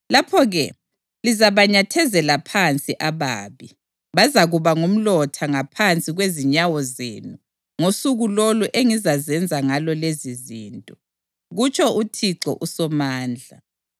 Lapho-ke lizabanyathezela phansi ababi; bazakuba ngumlotha ngaphansi kwezinyawo zenu ngosuku lolo engizazenza ngalo lezizinto,” kutsho uThixo uSomandla.